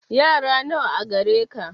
Yara nawa gare ka